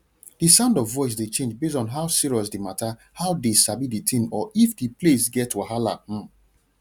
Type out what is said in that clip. the sound of voice dey change base on how serious the matterhow dey sabi the thing or if the place get wahala um